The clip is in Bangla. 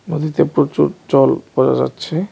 নদীতে প্রচুর জল বোঝা যাচ্ছে.